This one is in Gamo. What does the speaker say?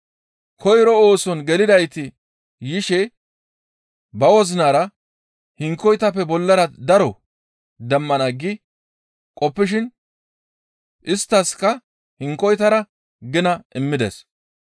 «Koyro ooson gelidayti yishe ba wozinara hinkoytappe bollara daro demmana gi qoppishin isttaskka hinkoytara gina immides.